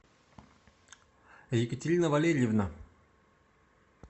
екатерина валерьевна